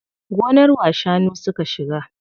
Gonar wa shanu suka shiga?